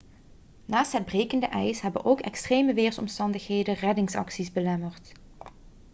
naast het brekende ijs hebben ook extreme weersomstandigheden reddingsacties belemmerd